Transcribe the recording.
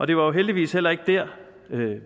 det var jo heldigvis heller ikke der